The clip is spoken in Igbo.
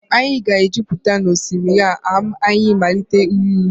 anyị ga-ejupụta n'osimiri a ma anyị malite ịrụ ụzọ